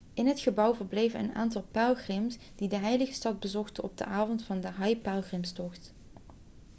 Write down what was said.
in het gebouw verbleven een aantal pelgrims die de heilige stad bezochten op de avond van de hajj-pelgrimstocht